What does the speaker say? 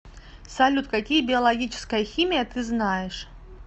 салют какие биологическая химия ты знаешь